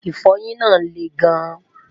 ifoyin nà leè gan